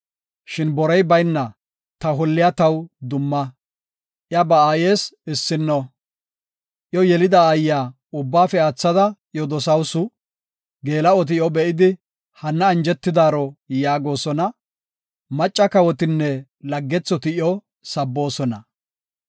Shin borey bayna ta holliya taw dumma; iya ba aayes issinno. Iyo yelida aayiya ubbaafe aathada iyo dosawusu; Geela7oti iyo be7idi, “Hanna anjetidaaro” yaagosona; macca kawotinne laggethoti iyo sabboosona.